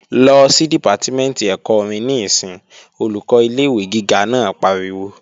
Lọ sí Dìpátímẹ̀ntì ẹ̀kọ́ orin níìsín! Olùkọ́ ilé-ìwé gíga naa pariwo